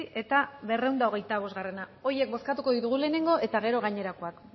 eta berrehun eta hogeita bosta horiek bozkatuko ditugu lehenengo eta gero gainerakoak